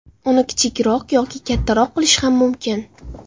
Uni kichikroq yoki kattaroq qilish ham mumkin.